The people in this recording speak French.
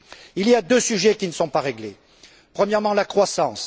Il y a deux sujets qui ne sont pas réglés. Premièrement, la croissance.